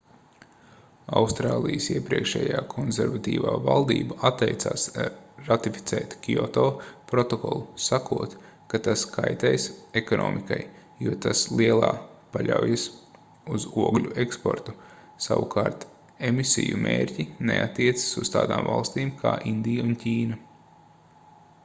austrālijas iepriekšējā konservatīvā valdība atteicās ratificēt kioto protokolu sakot ka tas kaitēs ekonomikai jo tas lielā paļaujas uz ogļu eksportu savukārt emisiju mērķi neattiecas uz tādām valstīm kā indija un ķīna